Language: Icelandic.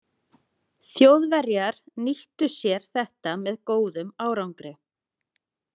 Þjóðverjar nýttu sér þetta með „góðum“ árangri.